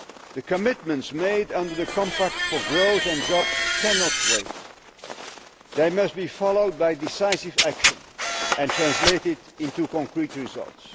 The commitments made under the Compact for Growth and Jobs cannot wait they must be followed by decisive action and translated into concrete results.